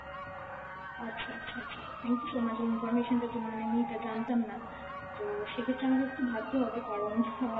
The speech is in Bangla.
আচ্ছা আচ্ছা আচ্ছা, thank you so much এই information টার জন্য, মানে আমি এইটা জানতাম না। তো সেক্ষেত্রে আমাকে একটু ভাবতে হবে কারণ আহ